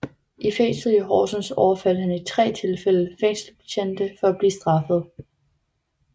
I fængslet i Horsens overfaldt han i tre tilfælde fængselsbetjente for at blive straffet